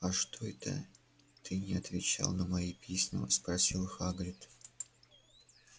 а что это ты не отвечал на мои письма спросил хагрид